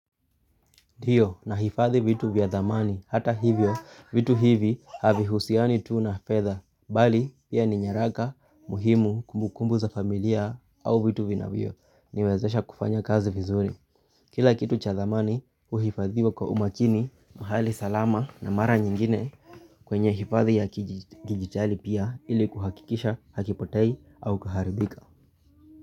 Ndiyo, nahifadhi vitu vya dhamani hata hivyo vitu hivi havihusiani tu na fedha bali pia ni nyaraka muhimu, kumbukumbu za familia au vitu vinavyoniwezesha kufanya kazi vizuri kila kitu cha dhamani huhifadhiwa kwa umakini mahali salama na mara nyingine kwenye hifadhi ya kidijitali pia ili kuhakikisha hakipotei au kuharibika.